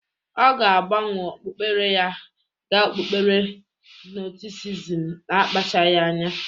Ọ ga-agbanwe okpukpere ya ga okpukpere gnostisisim ma akpachagị anya.